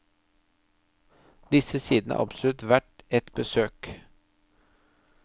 Disse sidene er absolutt verdt et besøk.